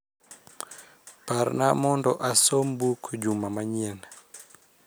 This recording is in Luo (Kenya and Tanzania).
Parna mondo asom buk juma manyien